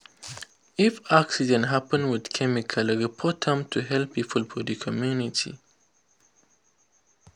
if accident happen with chemical report am to health people for the community.